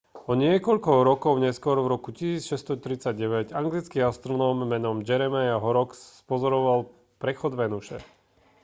o niekoľko rokov neskôr v roku 1639 anglický astronóm menom jeremiah horrocks spozoroval prechod venuše